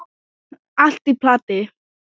Allt í plati.